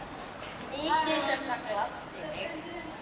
Mikið sem það gladdi mig.